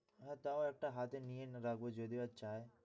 তাও একটা হাতে নিয়ে এনে রাখব যদি ও চায়।